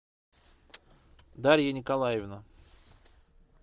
дарья николаевна